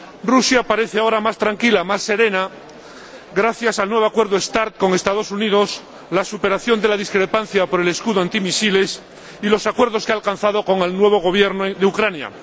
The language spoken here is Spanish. Rusia parece ahora más tranquila, más serena, gracias al nuevo Acuerdo START con los Estados Unidos, la superación de la discrepancia por el escudo antimisiles y los acuerdos que ha alcanzado con el nuevo Gobierno de Ucrania.